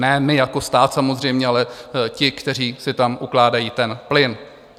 Ne my jako stát samozřejmě, ale ti, kteří si tam ukládají ten plyn.